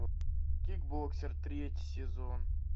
кикбоксер третий сезон